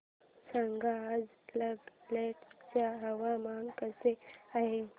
सांगा आज नागालँड चे हवामान कसे आहे